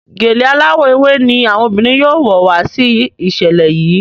Gèlè aláwò ewé ní àwọn obìrin yóò wò wá sí iṣẹlẹ yi.